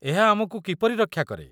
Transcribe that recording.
ଏହା ଆମକୁ କିପରି ରକ୍ଷା କରେ?